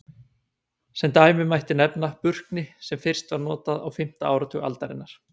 Sem dæmi mætti nefna Burkni sem fyrst var notað á fimmta áratug aldarinnar.